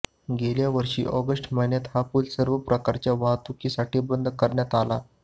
गेल्यावर्षी ऑगस्ट महिन्यात हा पूल सर्व प्रकारच्या वाहतुकीसाठी बंद करण्यात आला